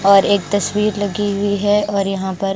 और एक तस्वीर लगी हुई है और यहाँ पर--